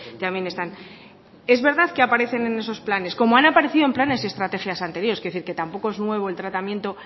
también están es verdad que aparecen en esos planes como han aparecido en planes y estrategias anteriores quiero decir que tampoco es nuevo el tratamiento